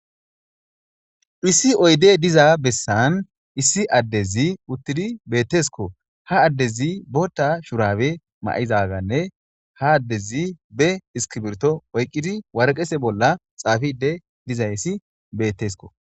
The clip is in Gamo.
issi oyde diza bessan issi addezi uttidi bettesko ha addezi bota shurawe ma7izaaganne ha addezi be iskibirto oyqqidi warqese bolla xaafide dizayssi bettesko.